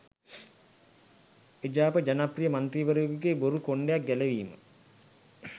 එජාප ජනප්‍රිය මන්ත්‍රීවරයකුගේ බොරු කොණ්ඩයක් ගැලවීම